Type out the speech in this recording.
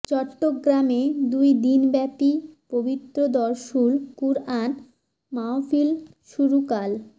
চট্টগ্রামে দুই দিনব্যাপী পবিত্র দরসুল কুরআন মাহফিল শুরু কাল